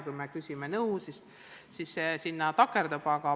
Kui me küsime nõu, siis sinna see paraku takerdub.